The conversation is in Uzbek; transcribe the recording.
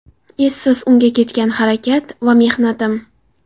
Essiz unga ketgan harakat va mehnatim”.